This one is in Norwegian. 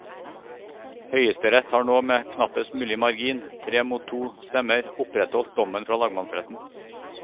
Høyesterett har nå med knappest mulig margin, tre mot to stemmer, opprettholdt dommen fra lagmannsretten.